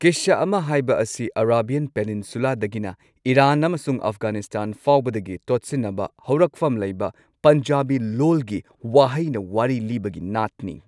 ꯀꯤꯁꯁꯥ ꯑꯃ ꯍꯥꯏꯕ ꯑꯁꯤ ꯑꯔꯥꯕꯤꯌꯥꯟ ꯄꯦꯅꯤꯟꯁꯨꯂꯥꯗꯒꯤꯅ ꯏꯔꯥꯟ ꯑꯃꯁꯨꯡ ꯑꯐꯘꯥꯅꯤꯁꯇꯥꯟ ꯐꯥꯎꯕꯗꯒꯤ ꯇꯣꯠꯁꯤꯟꯅꯕ ꯍꯧꯔꯛꯐꯝ ꯂꯩꯕ ꯄꯟꯖꯥꯕꯤ ꯂꯣꯜꯒꯤ ꯋꯥꯍꯩꯅ ꯋꯥꯔꯤ ꯂꯤꯕꯒꯤ ꯅꯥꯠꯅꯤ꯫